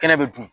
Kɛnɛ bɛ dun